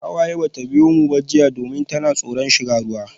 Hawaye bata biyo mu jiya ba domin tana tsoron shiga ruwa.